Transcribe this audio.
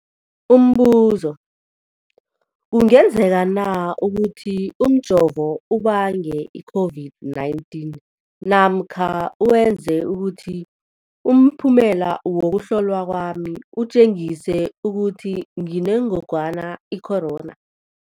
Umbuzo, kungenzekana ukuthi umjovo ubange i-COVID-19 namkha wenze ukuthi umphumela wokuhlolwa kwami utjengise ukuthi nginengogwana i-corona?